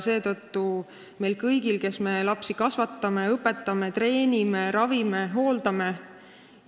See võimalus on meil kõigil, kes me lapsi kasvatame, õpetame, treenime, ravime, hooldame.